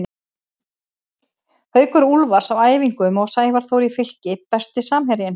Haukur Úlfars á æfingum og Sævar Þór í Fylki Besti samherjinn?